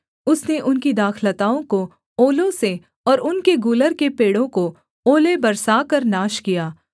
उसने उनकी दाखलताओं को ओलों से और उनके गूलर के पेड़ों को ओले बरसाकर नाश किया